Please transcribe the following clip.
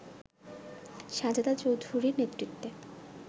সাজেদা চৌধুরীর নেতৃত্বে